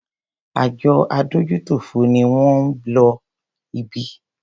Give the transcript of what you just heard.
Àjọ adójútòfò ni wón ń lọ ibí.